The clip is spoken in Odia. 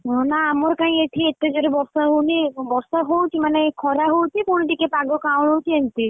ହଁ ନାଁ ଆମର କାଇଁ ଏଠି ଏତେଜୋରେ ବର୍ଷା ହଉନି? ବର୍ଷା ହଉଛି ମାନେ ଖରା ହଉଛି, ପୁଣି ଟିକେ ପାଗ କାଉଁଲୁଚି ଏମିତି,